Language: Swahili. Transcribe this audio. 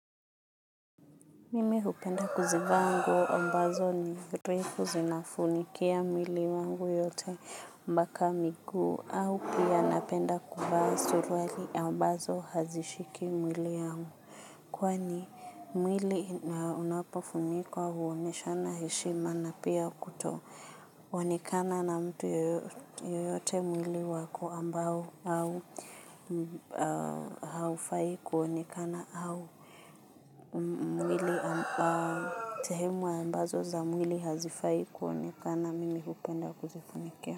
Mimi hupenda kuzivaa nguo ambazo ni mrefu ambazo zinafunikia mwili wangu wote mpaka miguu au pia napenda kuvaa suruali ambazo hazishiki mwili yangu kwani mwili unapofunikwa huonyeshana heshima na pia kuto onekana na mtu yeyote mwili wako ambao au haufai kuonekana au mwili sehemu ambazo za mwili hazifai kuonekana mimi hupenda kuzifunikia.